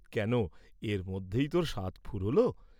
কেন, এর মধ্যেই তোর সাধ ফুরুলো?